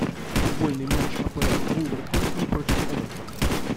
футбольный матч апл вулверхэмптон против эвертон